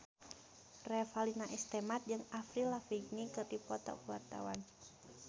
Revalina S. Temat jeung Avril Lavigne keur dipoto ku wartawan